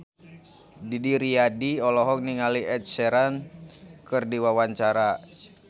Didi Riyadi olohok ningali Ed Sheeran keur diwawancara